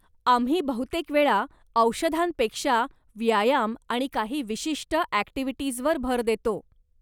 आम्ही बहुतेकवेळा औषधांपेक्षा व्यायाम आणि काही विशिष्ट ॲक्टिव्हिटीज वर भर देतो.